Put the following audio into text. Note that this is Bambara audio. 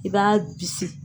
I b'a bisi.